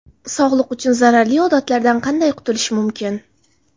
Sog‘liq uchun zararli odatlardan qanday qutulish mumkin?.